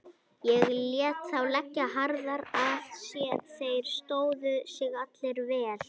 Ég lét þá leggja harðar að sér, þeir stóðu sig allir vel.